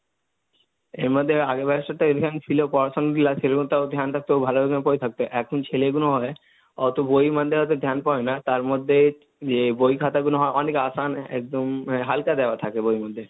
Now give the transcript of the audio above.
এরমধ্যে আগের ব্যাবস্থাটা exam ছিল পড়াশোনাটাও সেরকম তাও hindi থাকতো, ভালোভাবে পড়ে থাকতো, এখন ছেলেগুলো হয়, অত বই মানতে মানতে hindi পরে না, তার মধ্যে যে বই খাতাগুলো হয় অনেক hindi একদম হালকা দেওয়া থাকে বইয়ের মধ্যে।